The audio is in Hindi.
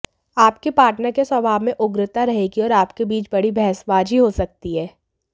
आपके पार्टनर के स्वभाव में उग्रता रहेगी और आपके बीच बड़ी बहसबाजी हो सकती है